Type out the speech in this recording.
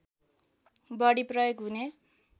बढी प्रयोग हुने